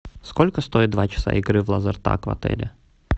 сколько стоит два часа игры в лазертаг в отеле